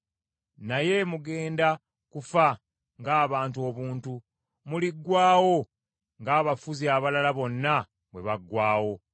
“Naye mugenda kufa ng’abantu obuntu; muliggwaawo ng’abafuzi abalala bonna bwe baggwaawo.”